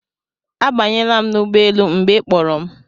Abanyela m n'ụgbọelu mgbe ị kpọrọ m